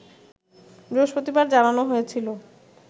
বৃহস্পতিবার জানানো হয়েছিল